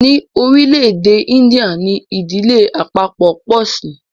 ní orílé èdè India ní Ìdílé àpapo po sí.